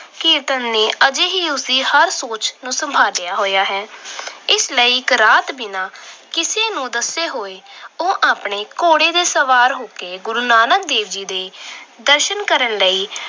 ਕੀਰਤਨ ਨੇ ਅਜੇ ਵੀ ਉਸ ਦੀ ਸੋਚ ਨੂੰ ਸੰਭਾਲਿਆ ਹੋਇਆ ਹੈ। ਇਸ ਲਈ ਇੱਕ ਰਾਤ ਬਿਨਾਂ ਕਿਸੇ ਨੂੰ ਦੱਸੇ ਉਹ ਆਪਣੇ ਘੋੜੇ ਤੇ ਸਵਾਰ ਹੋ ਕੇ ਗੁਰੂ ਨਾਨਕ ਦੇਵ ਜੀ ਦੇ ਦਰਸ਼ਨ ਕਰਨ ਲਈ